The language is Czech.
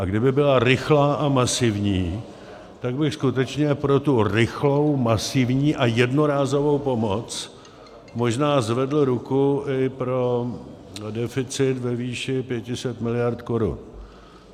A kdyby byla rychlá a masivní, tak bych skutečně pro tu rychlou, masivní a jednorázovou pomoc možná zvedl ruku i pro deficit ve výši 500 mld. korun.